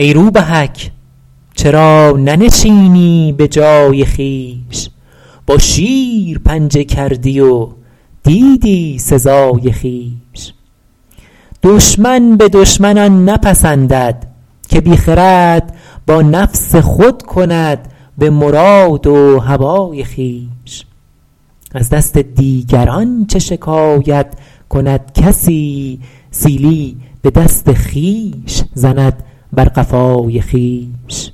ای روبهک چرا ننشینی به جای خویش با شیر پنجه کردی و دیدی سزای خویش دشمن به دشمن آن نپسندد که بی خرد با نفس خود کند به مراد و هوای خویش از دست دیگران چه شکایت کند کسی سیلی به دست خویش زند بر قفای خویش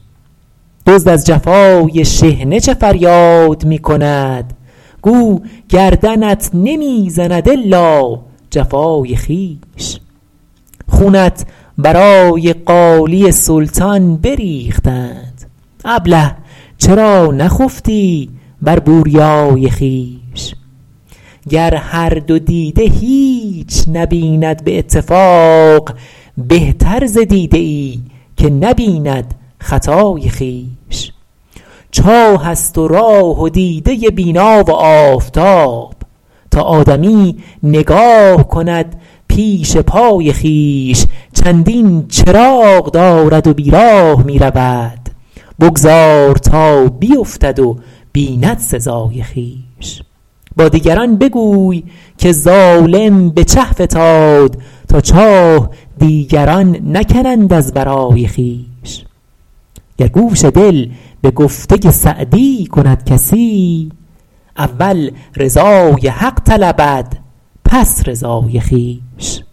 دزد از جفای شحنه چه فریاد می کند گو گردنت نمی زند الا جفای خویش خونت برای قالی سلطان بریختند ابله چرا نخفتی بر بوریای خویش گر هر دو دیده هیچ نبیند به اتفاق بهتر ز دیده ای که نبیند خطای خویش چاه است و راه و دیده بینا و آفتاب تا آدمی نگاه کند پیش پای خویش چندین چراغ دارد و بیراه می رود بگذار تا بیفتد و بیند سزای خویش با دیگران بگوی که ظالم به چه فتاد تا چاه دیگران نکنند از برای خویش گر گوش دل به گفته سعدی کند کسی اول رضای حق طلبد پس رضای خویش